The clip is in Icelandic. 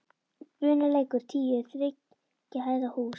Bunulækur tíu er þriggja hæða hús.